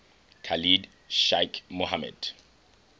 khalid sheikh mohammed